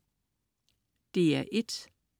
DR1: